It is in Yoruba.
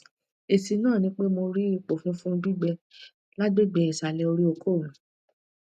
esi na nipe mo ri ipo funfun gbigbe lagbegbe isale ori oko mi